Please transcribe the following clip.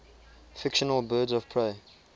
fictional birds of prey